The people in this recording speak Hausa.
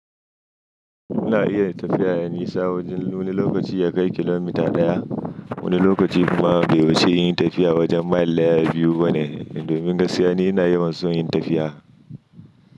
Muna iya tafiya a nisa wajen wani lokaci ya kai kilomita ɗaya, wani lokaci kuma bai wuce nayi tafiya wajen mile ɗaya biyu ba ne. Domin gaskiya ni ina yawan so yin tafiya.